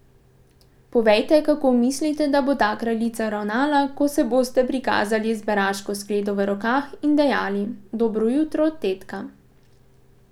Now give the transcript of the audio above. Povejte, kako mislite, da bo ta kraljica ravnala, ko se boste prikazali z beraško skledo v rokah in dejali: 'Dobro jutro, tetka.